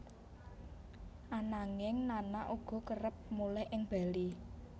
Ananging Nana uga kerep mulih ing Bali